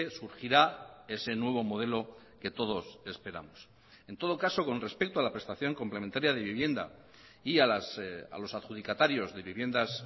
surgirá ese nuevo modelo que todos esperamos en todo caso con respecto a la prestación complementaria de vivienda y a los adjudicatarios de viviendas